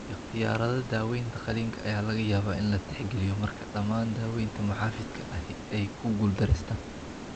Ikhtiyaarada daawaynta qalliinka ayaa laga yaabaa in la tixgeliyo marka dhammaan daawaynta muxaafidka ahi ay ku guuldareystaan.